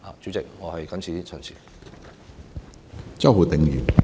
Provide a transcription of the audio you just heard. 主席，我謹此陳辭。